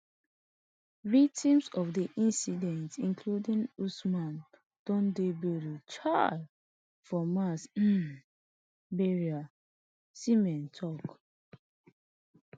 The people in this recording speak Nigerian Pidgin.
victims of di incident including usman don dey buried um for mass um burial nsema tok